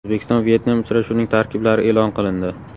O‘zbekiston Vyetnam uchrashuvining tarkiblari e′lon qilindi.